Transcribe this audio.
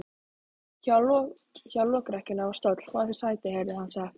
Hjá lokrekkjunni var stóll: Fáðu þér sæti, heyrði hann sagt.